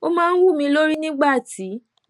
ó máa ń wú mi lórí nígbà tí